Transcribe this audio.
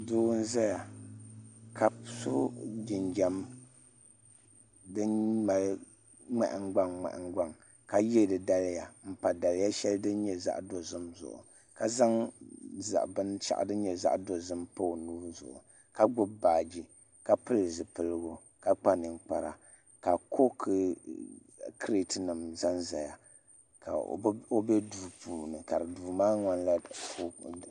Doo n zaya ka so jinjam dini malŋmahin gbaŋ ŋmahin gbaŋ ka yiɛ di daliya n pa daliya shɛli dini yɛ zaɣi dozim zuɣu ka zaŋ bini shaɣu dini yɛ zaɣi dozim n pa o nuu zuɣu ka gbubi baaji ka pili zupiligu ka kpa ninkpara ka kooki kriti nima zan n zaya ka o bɛ duu puuni ka duu maa ŋmanila.